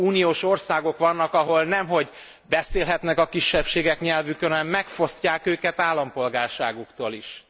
Uniós országok vannak, ahol nem hogy nem beszélhetnek a kisebbségek nyelvükön, hanem megfosztják őket állampolgárságuktól is.